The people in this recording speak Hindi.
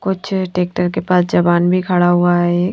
कुछ ट्रैक्टर के पास जवान भी खड़ा हुआ है ये--